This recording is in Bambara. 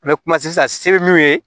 N bɛ kuma sisan se bɛ min ye